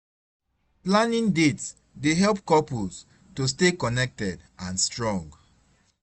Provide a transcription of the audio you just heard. Planning dates dey help couples to stay connected and strong.